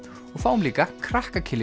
við fáum líka krakka